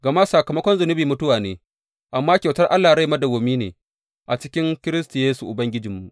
Gama sakamakon zunubi mutuwa ne, amma kyautar Allah rai madawwami ne a cikin Kiristi Yesu Ubangijinmu.